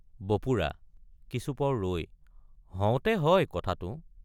বপুৰা—কিছুপৰ ৰৈ হওতে হয় কথাটো।